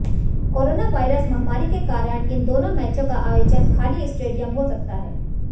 corona virus महामारी के कारण इन दोनों मैचों का आयोजन खाली स्टेडियम हो सकता है